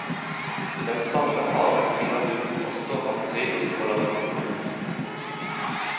I den samme haven finner du også hans drivhus og laboratorium.